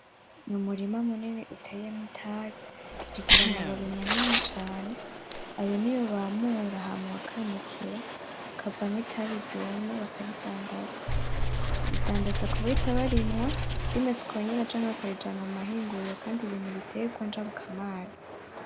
N’umurima munini uteyemwo itabi, zigira amababi manini cane, ayo niyo bamura bakanikira akavamwo itabi ryumye bakaridandaza, bayidandaza kubahita bayinywa rimeze ukonyene canke bakayijana kumahinguriro kandi biri mubiterwa njabukamazi.